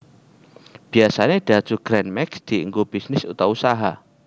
Biyasane Daihatsu Gran Max dianggo bisnis utawa usaha